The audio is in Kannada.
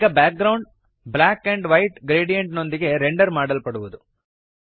ಈಗ background black and white gradient ನೊಂದಿಗೆ ರೆಂಡರ್ ಮಾಡಲ್ಪಡುವದು